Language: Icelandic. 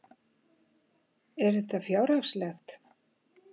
Er þetta fjárhagslegt?